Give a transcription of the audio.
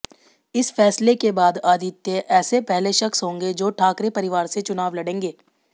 इस फैसले के बाद आदित्य ऐसे पहले शख्स होंगे जो ठाकरे परिवार से चुनाव लड़ेंगे